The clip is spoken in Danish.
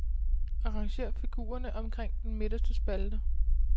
Arrangér figurerne omkring den midterste spalte.